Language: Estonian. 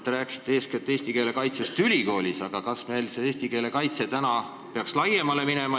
Te rääkisite eeskätt eesti keele kaitsest ülikoolis, aga kas eesti keele kaitse ei peaks laienema?